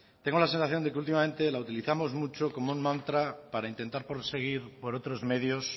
tengo la sensación que últimamente la utilizamos mucho como un mantra para intentar proseguir por otros medios